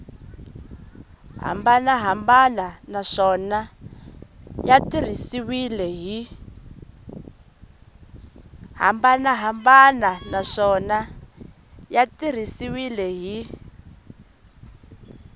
hambanahambana naswona ya tirhisiwile hi